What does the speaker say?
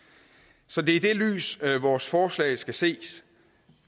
så det er i det lys vores forslag skal ses